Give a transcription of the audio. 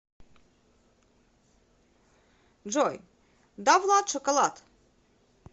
джой давлад шоколад